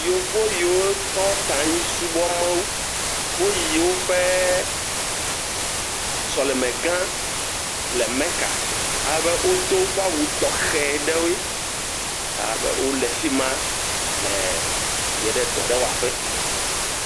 Yevu yiwo tɔ ta anyi subɔ Mawu. Wo yi woƒe sɔlime gã le Meka. Alebe wodo woƒe awu tɔxɛ aɖe. Alebe wò le fima yie ɖe dɔ aɖe wɔƒe.